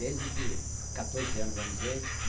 Desde que... quatorze anos, vamos dizer.